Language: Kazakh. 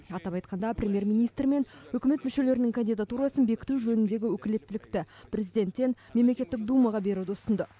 атап айтқанда премьер министр мен үкімет мүшелерінің кандидатурасын бекіту жөніндегі өкілеттілікті президенттен мемлекеттік думаға беруді ұсынды